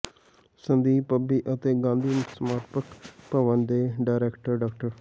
ਸੰਦੀਪ ਪੱਬੀ ਅਤੇ ਗਾਂਧੀ ਸਮਾਰਕ ਭਵਨ ਦੇ ਡਾਇਰੈਕਟਰ ਡਾ